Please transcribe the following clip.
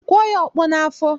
Kụọ ya ọkpọ n'afọ!